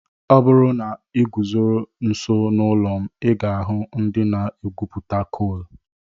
Ọ bụrụ na ị guzoro nso n'ụlọ m, ị ga-ahụ ndị na-egwupụta koolù.